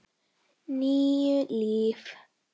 Níu líf.